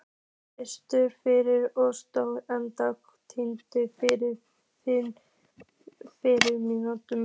Fastur fyrir og stór einsog Tindur yfir firðinum.